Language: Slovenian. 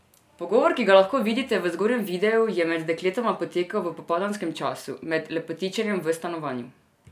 Pogovor, ki ga lahko vidite v zgornjem videu, je med dekletoma potekal v popoldanskem času, med lepotičenjem v stanovanju.